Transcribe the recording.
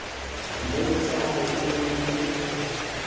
mmotsa a re o ne